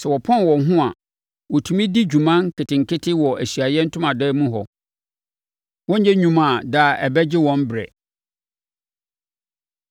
Sɛ wɔpɔn wɔn ho a, wɔtumi di dwuma nketenkete wɔ Ahyiaeɛ Ntomadan mu hɔ. Wɔrenyɛ nnwuma a daa ɛbɛgye wɔn berɛ.”